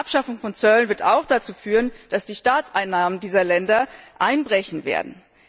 die Abschaffung von Zöllen wird auch dazu führen, dass die Staatseinnahmen dieser Länder einbrechen werden.